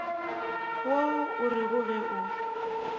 yo o rego ge o